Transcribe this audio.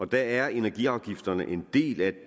der er energiafgifterne en del af